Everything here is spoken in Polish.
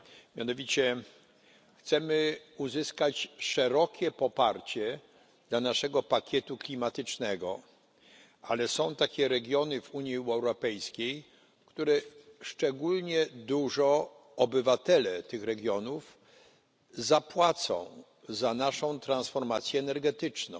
Mianowicie chcemy uzyskać szerokie poparcie dla naszego pakietu klimatycznego, ale są takie regiony w Unii Europejskiej, których obywatele szczególnie dużo zapłacą za naszą transformację energetyczną.